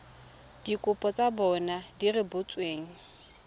dikopo tsa bona di rebotsweng